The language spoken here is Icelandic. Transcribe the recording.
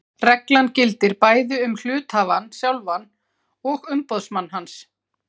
Reglan gildir bæði um hluthafann sjálfan og umboðsmann hans.